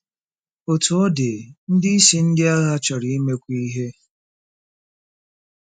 Otú ọ dị, ndị isi ndị agha chọrọ imekwu ihe.